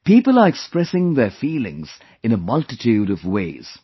People are expressing their feelings in a multitude of ways